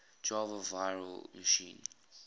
java virtual machine